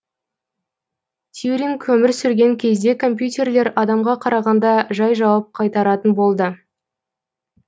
тьюринг өмір сүрген кезде компьютерлер адамға қарағанда жай жауап қайтаратын болды